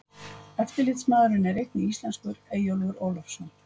Eftirlitsmaðurinn er einnig íslenskur, Eyjólfur Ólafsson.